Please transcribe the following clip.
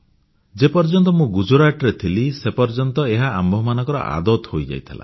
ଯେ ପର୍ଯ୍ୟନ୍ତ ମୁଁ ଗୁଜରାଟରେ ଥିଲି ସେ ପର୍ଯ୍ୟନ୍ତ ଏହା ଆମମାନଙ୍କର ଅଭ୍ୟାସ ହୋଇଯାଇଥିଲା